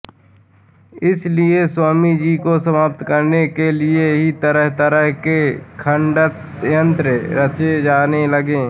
इसलिए स्वामी जी को समाप्त करने के लिए भी तरहतरह के षड्यन्त्र रचे जाने लगे